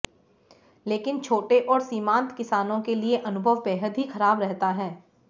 लेकिन छोटे और सीमांत किसानों के लिए अनुभव बेहद ही खराब रहता है